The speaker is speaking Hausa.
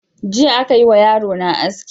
Jiya aka yi wa yarona aski.